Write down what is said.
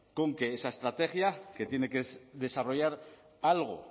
con que esa estrategia que tiene que desarrollar algo